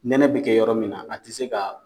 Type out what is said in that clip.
Nɛnɛ bi kɛ yɔrɔ min na, a ti se ka